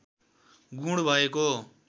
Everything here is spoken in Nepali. गुण भएको